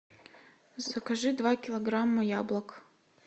закажи два килограмма яблок